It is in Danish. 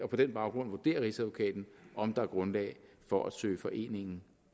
den baggrund vurderer rigsadvokaten om der er grundlag for at søge foreningen